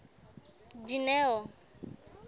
dineo